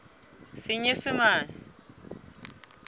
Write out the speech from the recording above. senyesemane